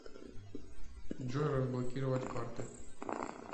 джой разблокировать карты